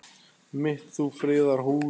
mitt þú friðar hús.